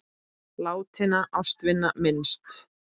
Látinna ástvina minnst.